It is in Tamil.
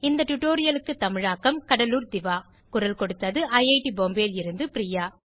இந்த டுடோரியலுக்கு தமிழாக்கம் கடலூர் திவா குரல் கொடுத்தது ஐஐடி பாம்பேவில் இருந்து பிரியா